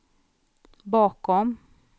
bakom